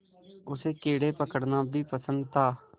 उसे कीड़े पकड़ना भी पसंद था